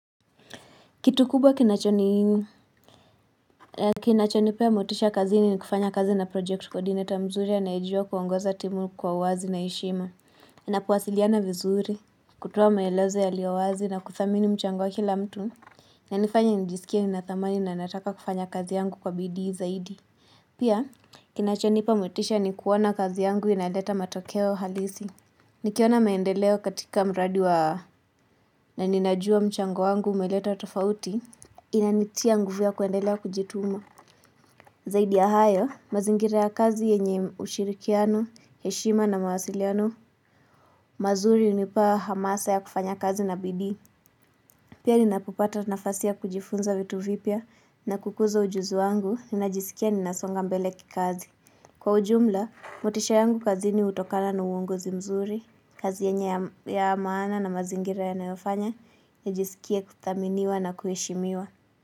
Kitu kubwa kinacho ni pia motisha kazini ni kufanya kazi na project kodineta mzuri ya anaejua kuongoza timu kwa wazi na ishima. Na kuwasiliana vizuri, kutoa maelezo ya lio wazi na kuthamini mchango wa kila mtu. Inanifanya nijisikia ninathamani na nataka kufanya kazi yangu kwa bidii zaidi. Pia, kinacho nipa motisha ni kuona kazi yangu inaleta matokeo halisi. Nikiona maendeleo katika mradi wa na ninajua mchango wangu umaleta tofauti. Inanitia nguvu ya kuendelea kujituma Zaidi ya hayo, mazingira ya kazi yenye ushirikiano, heshima na mawasiliano mazuri unipa hamasa ya kufanya kazi na bidii Pia ninapo pata nafasi ya kujifunza vitu vipya na kukuza ujuzu wangu, ninajisikia ninasonga mbele kikazi kwa ujumla, motisha yangu kazi ni utokana na uongozi mzuri kazi yenye ya maana na mazingira ya nayo fanya nijisikie kuthaminiwa na kuhishimiwa.